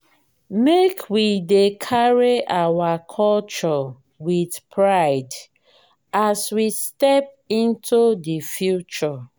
make we dey carry our culture with pride as we step into the future.